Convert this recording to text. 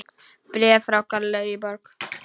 Bréf frá Gallerí Borg.